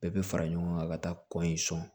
Bɛɛ bɛ fara ɲɔgɔn kan ka taa kɔ in sɔn